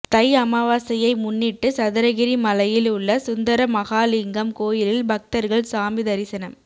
தை அமாவாசையை முன்னிட்டு சதுரகிரி மலையில் உள்ள சுந்தர மகாலிங்கம் கோயிலில் பக்தர்கள் சாமி தரிசனம்